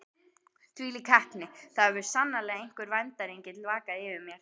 Þvílík heppni: það hefur sannarlega einhver verndarengill vakað yfir mér.